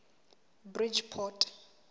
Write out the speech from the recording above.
bridgeport